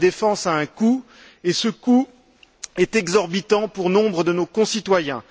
La défense a un coût qui est exorbitant pour nombre de nos concitoyens.